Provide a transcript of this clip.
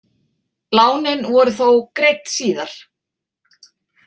Lánin voru þó greidd síðar.